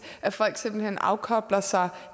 at folk simpelt hen afkobler sig